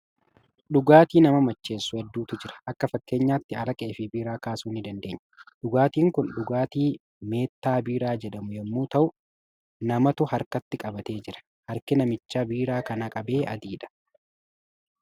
Dhugaatii nama macheessu hedduutu jira. Akka fakkeenyaatti araqee fi biiraa kaasuu ni dandeenya. Dhugaatiin kun dhugaatii meettaa biiraa jedhamu yommuu ta'u, namatu harkatti qabatee jira. Harki namicha biiraa kana qabee adiidha.